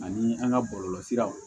Ani an ga bɔlɔlɔsiraw